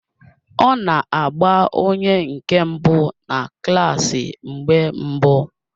Ọ na-agba onye nke mbụ na klaasi mgbe mbụ